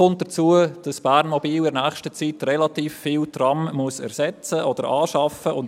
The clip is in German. Kommt hinzu, dass Bernmobil in nächster Zeit relativ viele Trams ersetzen oder anschaffen muss.